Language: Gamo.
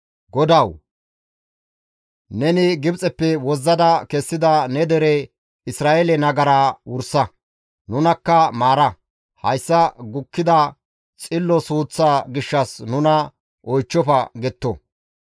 GODAWU! Neni Gibxeppe wozzada kessida ne dere Isra7eele nagaraa wursa; nunakka maara; hayssa gukkida xillo suuththaa gishshas nuna oychchofa» getto.